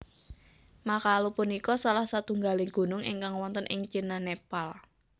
Makalu punika salah satunggaling gunung ingkang wonten ing Cina Nepal